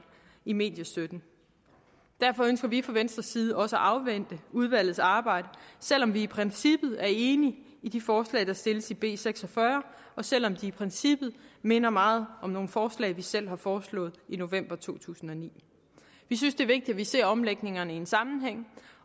i mediestøtten derfor ønsker vi fra venstres side også at afvente udvalgets arbejde selv om vi i princippet er enige i de forslag der stilles i b seks og fyrre og selv om de i princippet minder meget om nogle forslag vi selv har foreslået i november to tusind og ni vi synes det er vigtigt vi ser omlægningerne i en sammenhæng